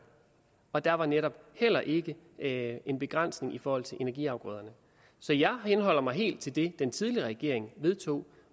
og der var netop heller ikke ikke en begrænsning i forhold til energiafgrøder så jeg henholder mig helt til det den tidligere regering vedtog